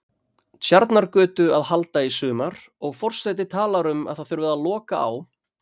Tjarnargötu að halda í sumar, og forseti talar um að það þurfi að loka á